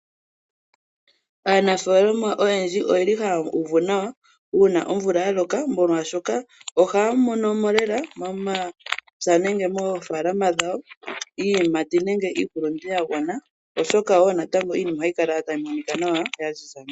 Aanafaalama oyendji oyeli haya uvu nawa uuna omvula ya loka molwaashoka ohaya mono mo lela momapya nenge moofaalama dhawo iiyimati nenge iihulundu ya gwana oshoka wo natango iinima ohayi kala tayi monika nawa ya ziza nawa.